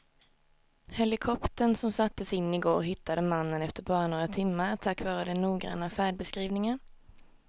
Helikoptern som sattes in i går hittade mannen efter bara några timmar tack vare den noggranna färdbeskrivningen.